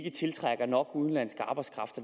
ikke tiltrækker nok udenlandsk arbejdskraft